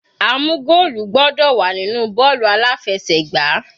A mú goolu gbọ́dọ̀ wà nínú bọ́ọ̀lù aláfẹsẹ̀gbá.